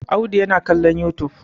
Audu yana kallon youtube.